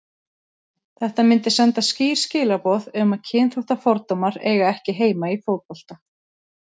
Þetta myndi senda skýr skilaboð um að kynþáttafordómar eiga ekki heima í fótbolta.